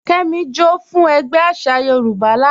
Kẹ́mí, jọ́ fún ègbé àṣà Yorùbá lána.